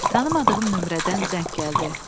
Tanımadığım nömrədən zəng gəldi.